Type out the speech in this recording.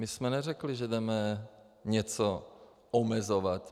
My jsme neřekli, že jdeme něco omezovat.